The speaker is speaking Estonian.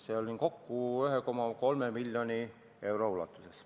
Seda oli kokku 1,3 miljonit eurot.